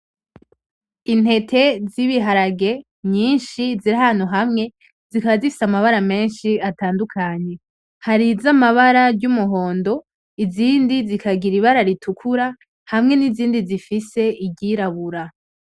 Intete z'ibiharage nyinshi ziri ahantu hamwe zikaba zifise amabara menshi atandukanye. Hari iz'amabara y'umuhondo, izindi zikagira ibara ritukura hamwe n'izindi zifise igirabura.